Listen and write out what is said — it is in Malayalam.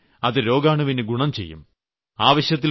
അങ്ങനെവന്നാൽ അത് രോഗാണുവിന് ഗുണം ചെയ്യും